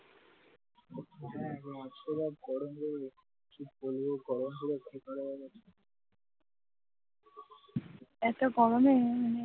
এত গরমে মানে